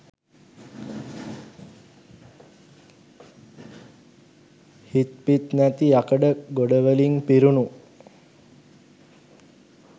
හිත් පිත් නැති යකඩ ගොඩවලින් පිරුණු